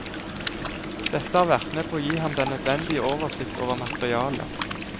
Dette har vært med på å gi ham den nødvendige oversikt over materialet.